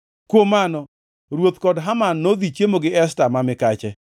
Kuom mano, ruoth kod Haman nodhi chiemo gi Esta ma mikache,